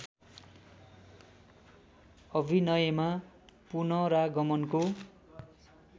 अभिनयमा पुनरागमनको